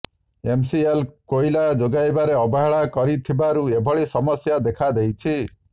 MCL କୋଇଲା ଯୋଗାଇବାରେ ଅବହେଳା କରିଥିବାରୁ ଏଭଳି ସମସ୍ୟା ଦେଖାଦେଇଛି